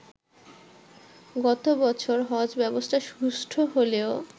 গত বছর হজ ব্যবস্থা সুষ্ঠু হলেও